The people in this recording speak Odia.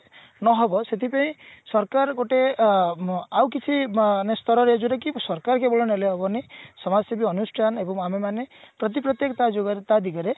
ନ ହେବ ସେଠି ପେଇଁ ସରକାର ଗୋଟେ ଅ ମ ଆଉ କିଛି ମାନେ ସ୍ତରରେ ଯୋଉଟା କି ସରକାର କେବଳ ନେଲେ ହବନି ସମାଜସେବୀ ଅନୁଷ୍ଠାନ ଏବଂ ଆମେମାନେ ପ୍ରତି ତା ଦିଗରେ